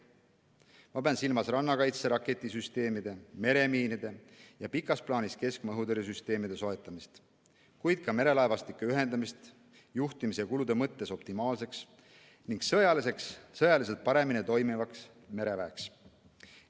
Ma pean silmas rannakaitse raketisüsteemide, meremiinide ja pikas plaanis keskmaa õhutõrjesüsteemide soetamist, kuid ka merelaevastike ühendamist juhtimise ja kulude mõttes optimaalseks ning sõjaliselt paremini toimivaks mereväeks.